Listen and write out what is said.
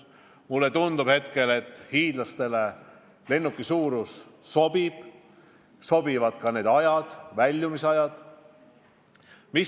Mulle tundub, et hiidlastele lennuki suurus sobib, sobivad ka väljumisajad.